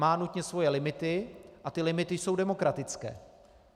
Má nutně svoje limity a ty limity jsou demokratické.